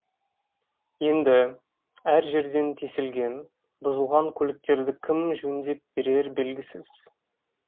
енді әр жерден тесілген бұзылған көліктерді кім жөндеп берері белгісіз